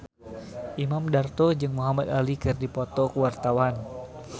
Imam Darto jeung Muhamad Ali keur dipoto ku wartawan